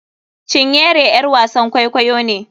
Cinyere ƴar wasan kwaikwayo ne.